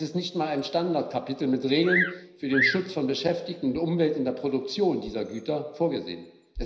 Es ist nicht einmal ein Standardkapitel mit Regeln für den Schutz von Beschäftigten und Umwelt in der Produktion dieser Güter vorgesehen.